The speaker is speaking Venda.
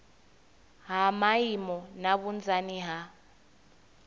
ha maimo na vhunzani ha